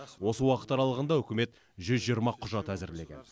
осы уақыт аралығында үкімет жүз жиырма құжат әзірлеген